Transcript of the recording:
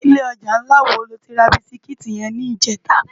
Ilè òjá nlá wó ló ti rá bisikiti yèn nijètá?